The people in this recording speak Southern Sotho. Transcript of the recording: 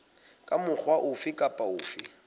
ka mokgwa ofe kapa ofe